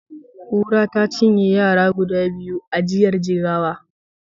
Kura ta cinye yara guda biyu a jiyar Jigawa.